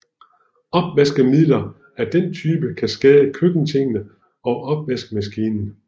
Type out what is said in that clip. Opvaskemidler af den type kan skade køkkentingene og opvaskemaskinen